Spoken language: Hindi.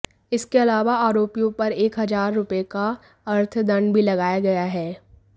इसके अलावा आरोपियों पर एक हजार रुपए का अर्थदंड भी लगाया गया है